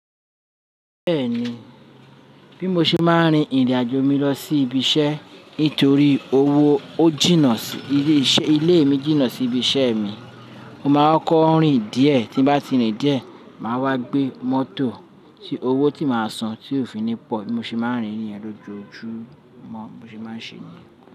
Bẹ́ẹ̀ni, bí mo ṣe máa ń rin ìrìnàjò mi lọ sí ibi iṣẹ́ nítorí owó ó jìnnà sí ilé ìṣe, ilé mi jìnnà sí ibi iṣẹ́ mi. Mo máa ń kọ́kó rìn díẹ̀ tí bá ti rìn díẹ̀, màá wá gbé mọ́tò tí owó tí màá san tí òfin ni pọ̀. Bí mo ṣe máa ń rìn ní ìrìnàjò ni ojoojú mọ́, bí mo ṣe máa ń ṣe ni.